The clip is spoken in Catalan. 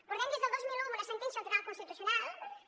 portem des del dos mil un amb una sentència del tribunal constitucional que